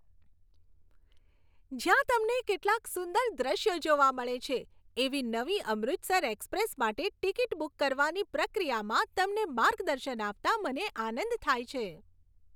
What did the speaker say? જ્યાં તમને કેટલાક સુંદર દૃશ્યો જોવા મળે છે, એવી નવી 'અમૃતસર એક્સપ્રેસ' માટે ટિકિટ બુક કરવાની પ્રક્રિયામાં તમને માર્ગદર્શન આપતાં મને આનંદ થાય છે.